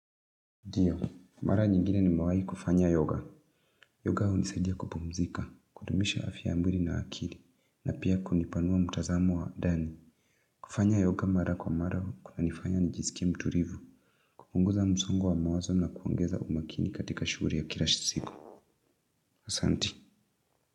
Ndio, mara nyingine nimewahi kufanya yoga. Yoga hunisaidia kupumzika, kudumisha afya ya mwili na akili, na pia kunipanua mtazamo wa ndani. Kufanya yoga mara kwa mara kunanifanya nijisikie mtulivu. Kupunguza msongo wa mawazo na kuongeza umakini katika shughuli ya kila siku. Asanti.